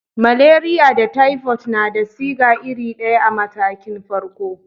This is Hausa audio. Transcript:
Maleriya da taifot na da siga iri daya a matakin farko.